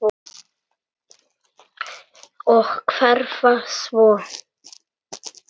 Og hverfa svo.